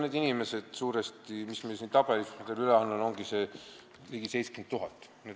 Need on suuresti need inimesed, keda siin tabelis, mille ma teile üle annan, ongi ligi 70 000.